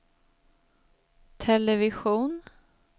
television